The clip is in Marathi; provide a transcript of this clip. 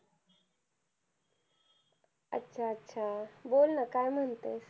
अच्छा अच्छा बोल ना काय म्हणतेस